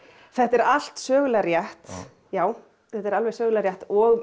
þetta er allt sögulega rétt já þetta er alveg sögulega rétt og